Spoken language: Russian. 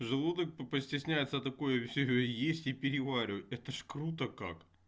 желудок постесняется такое все есть и переваривать это же круто как